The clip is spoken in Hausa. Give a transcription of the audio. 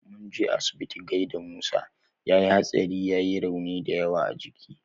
Munje asibiti gaida musa, yayi hatsari yai raunuka dayawa a jiki